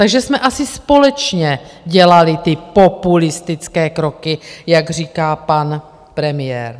Takže jsme asi společně dělali ty populistické kroky, jak říká pan premiér.